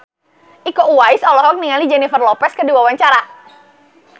Iko Uwais olohok ningali Jennifer Lopez keur diwawancara